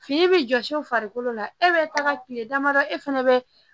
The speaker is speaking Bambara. Fini bi jɔsi u farikolo la e be taga kile damadɔ e fɛnɛ bɛ